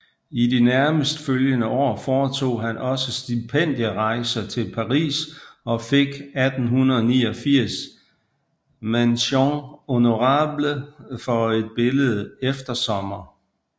I de nærmest følgende år foretog han også stipendierejser til Paris og fik 1889 mention honorable for et billede Eftersommer